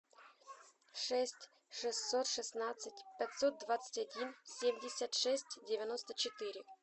шесть шестьсот шестнадцать пятьсот двадцать один семьдесят шесть девяносто четыре